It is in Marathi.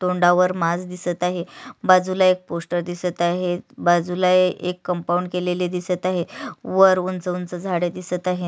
तोंडावर मास्क दिसत आहे बाजूला एक पोस्टर दिसत आहेत बाजूला एक कंपाऊंड केलेले दिसत आहेत वर उंच उंच झाडे दिसत आहेत.